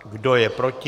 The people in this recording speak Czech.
Kdo je proti?